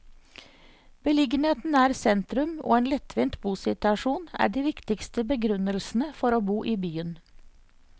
Beliggenheten nær sentrum og en lettvint bosituasjon er de viktigste begrunnelsene for å bo i byen.